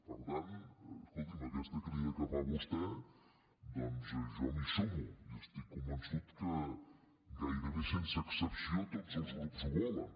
per tant escoltin me a aquesta crida que fa vostè doncs jo m’hi sumo i estic convençut que gairebé sense excepció tots els grups ho volen